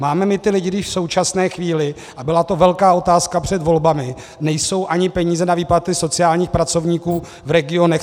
Máme my ty lidi, když v současné chvíli, a byla to velká otázka před volbami, nejsou ani peníze na výplaty sociálních pracovníků v regionech?